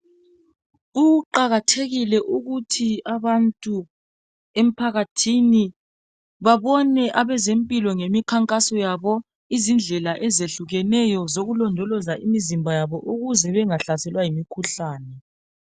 Kuqakathekile ukuthi abantu emphakathini babone abezempilo ngemikhankaso yabo izindlela ezehlukeneyo zokulondoloza imizimba yabo ukuze bengahlaselwa yimikhuhlane.